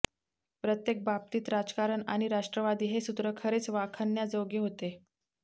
प्रत्येक बाबतीत राजकारण आणि राष्ट्रवादी हे सूत्र खरेच वाखाणण्याजोगे होते